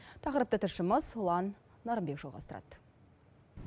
тақырыпты тілшіміз ұлан нарынбек жалғастырады